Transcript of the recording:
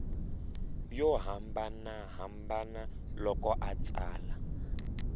yo hambanahambana loko a tsala